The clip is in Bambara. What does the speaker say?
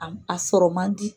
A a sɔrɔ man di.